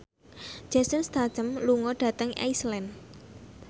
Jason Statham lunga dhateng Iceland